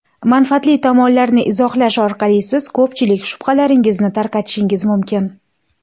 Manfaatli tomonlarni izohlash orqali siz ko‘pchilik shubhalaringizni tarqatishingiz mumkin.